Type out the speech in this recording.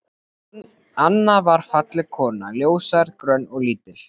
Anna var falleg kona, ljóshærð, grönn og lítil.